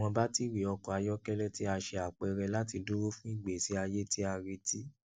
awọn batiri ọkọ ayọkẹlẹ ti a ṣe apẹrẹ lati duro fun igbesi aye ti a reti